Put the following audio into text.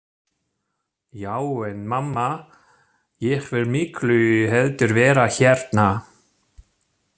Já en mamma, ég vil miklu heldur vera hérna.